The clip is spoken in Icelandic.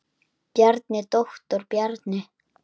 Bjarni, doktor Bjarni.